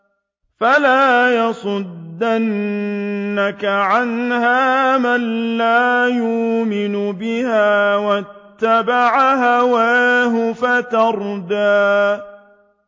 فَلَا يَصُدَّنَّكَ عَنْهَا مَن لَّا يُؤْمِنُ بِهَا وَاتَّبَعَ هَوَاهُ فَتَرْدَىٰ